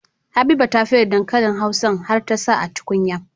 Habiba ta fere dankalin hausan har ta sa a tukunya